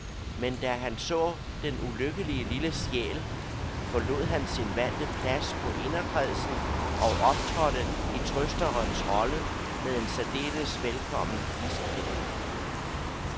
Men da han så den ulykkelige lille sjæl, forlod han sin vante plads på inderkredsen og optrådte i trøsterens rolle med en særdeles velkommen ispind.